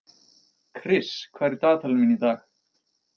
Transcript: Kris, hvað er í dagatalinu mínu í dag?